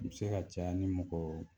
U bɛ se ka caya ni mɔgɔ